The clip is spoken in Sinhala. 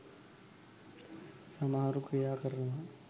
සමහරු ක්‍රියා කරනවා